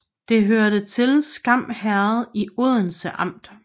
Det hørte til Skam Herred i Odense Amt